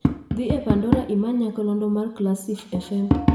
dhi e pandora imany nyakalondo mar classif fm